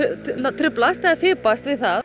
truflast eða fipast við það